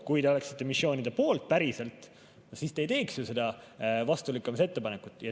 Kui te oleksite missioonide poolt päriselt, siis te ei teeks seda tagasilükkamise ettepanekut.